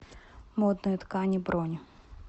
модные ткани бронь